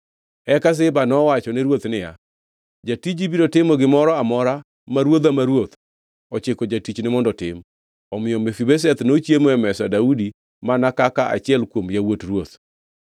Eka Ziba nowachone ruoth niya, “Jatiji biro timo gimoro amora ma ruodha ma ruoth ochiko jatichne mondo otim.” Omiyo Mefibosheth nochiemo e mesa Daudi mana kaka achiel kuom yawuot ruoth.